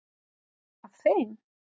Af þeim